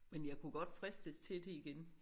Men jeg kunne godt fristes til det igen